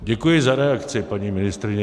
Děkuji za reakci, paní ministryně.